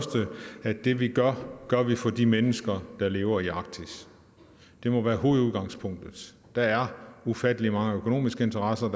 det vi gør gør vi for de mennesker der lever i arktis det må være hovedudgangspunktet der er ufattelig mange økonomiske interesser